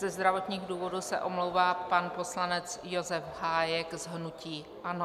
Ze zdravotních důvodů se omlouvá pan poslanec Josef Hájek z hnutí ANO.